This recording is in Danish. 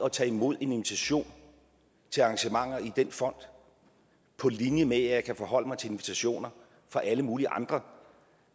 at tage imod en invitation til arrangementer i den fond på linje med at jeg kan forholde mig til invitationer fra alle mulige andre